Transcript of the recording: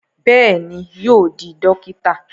Bẹ́ẹ̀ni, yóò di dókítà